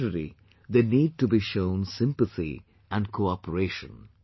On the contrary, they need to be shown sympathy and cooperation